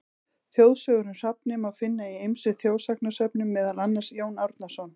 Þjóðsögur um hrafninn má finna í ýmsum þjóðsagnasöfnum, meðal annars: Jón Árnason.